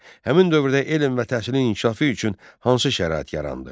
Həmin dövrdə elm və təhsilin inkişafı üçün hansı şərait yarandı?